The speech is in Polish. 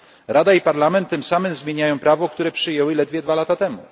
Rada i Parlament tym samym zmieniają prawo, które przyjęły ledwie dwa lata temu.